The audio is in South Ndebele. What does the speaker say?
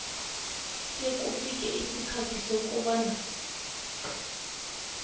sekufike isikhathi sokobana